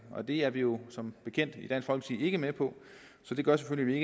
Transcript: det er vi jo som bekendt ikke med på så det gør selvfølgelig at